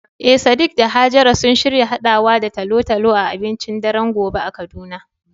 Eh sadiq da hajara sun shirya haɗawa da talo-talo a abincin daren gobe a kaduna.